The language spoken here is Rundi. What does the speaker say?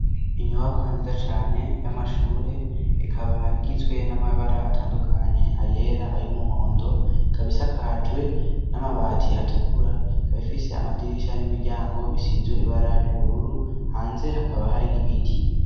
Inyubakwa nziza cane y'amashure ikaba igizwe n'amabara atandukanye ayera ayo umuhondo kabisakajwe n'amabati atukura kabifise amadirisha n'imiryango bisizwe ibara ry'ubururu hanze hakaba hari n'ibiti.